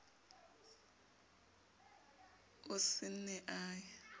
o se ne a ye